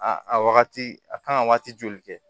A a wagati a kan ka waati joli kɛ